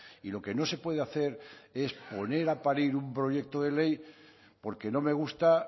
y lo que no se puede hacer es poner a parir un proyecto de ley porque no me gusta